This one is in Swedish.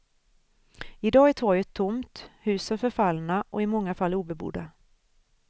I dag är torget tomt, husen förfallna och i många fall obebodda.